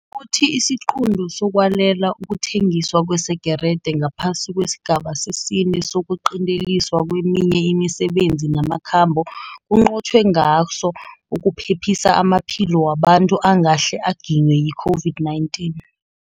Uthi isiqunto sokwalela ukuthengiswa kwesegerede ngaphasi kwesigaba sesine sokuqinteliswa kweminye imisebenzi namakhambo kunqotjhwe ngaso ukuphephisa amaphilo wabantu angahle aginywe yi-COVID-19.